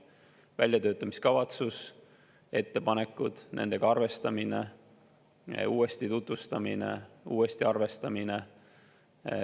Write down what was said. On olnud väljatöötamiskavatsus, ettepanekud, nendega arvestamine, uuesti tutvustamine, uuesti arvestamine.